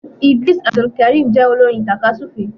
Idrees Abdulkareem jé olorin takasufe